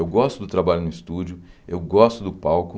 Eu gosto do trabalho no estúdio, eu gosto do palco.